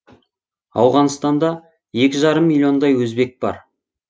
ауғанстанда екі жарым миллиондай өзбек бар